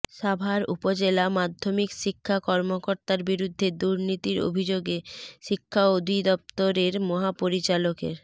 সাভার উপজেলা মাধ্যমিক শিক্ষা কর্মকর্তার বিরুদ্ধে দুর্নীতির অভিযোগে শিক্ষা অধিদপ্তরের মহাপরিচালকের